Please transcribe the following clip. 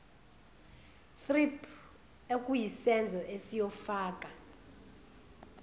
thrip okuyisenzo esiyofaka